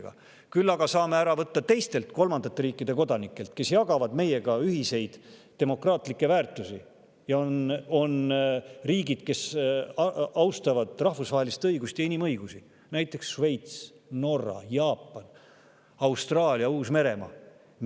Küll aga saame ära võtta teistelt kolmandate riikide kodanikelt, kes jagavad meiega ühiseid demokraatlikke väärtusi ja on riikidest, kes austavad rahvusvahelist õigust ja inimõigusi, näiteks Šveits, Norra, Jaapan, Austraalia, Uus-Meremaa.